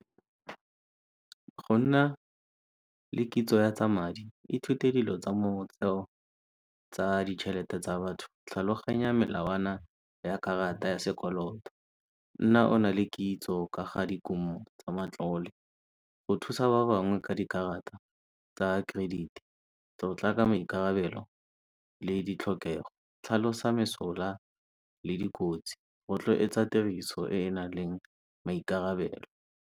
Go nna le kitso ya tsa madi i thute dilo tsa ditšhelete tsa batho. Tlhaloganya melawana ya karata ya sekoloto. Nna ona le kitso ka ga dikumo tsa matlole go thusa ba bangwe ka di karata tsa credit-i. Tlotla ka maikarabelo le di tlhokego, tlhalosa mesola le dikotsi, rotloetsa tiriso e e nang le maikarabelo.